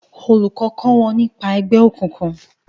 olùkó kọ wón nípa ègbé òkùnkùn